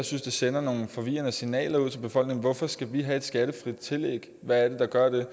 synes det sender nogle forvirrende signaler ud til befolkningen hvorfor skal vi have et skattefrit tillæg hvad er det der gør det jeg